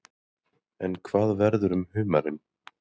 En hvað verður um humarinn?